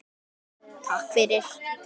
Skipti veðrið þá engu.